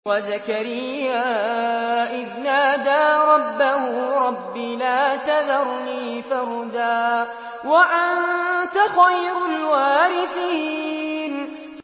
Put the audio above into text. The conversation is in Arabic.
وَزَكَرِيَّا إِذْ نَادَىٰ رَبَّهُ رَبِّ لَا تَذَرْنِي فَرْدًا وَأَنتَ خَيْرُ الْوَارِثِينَ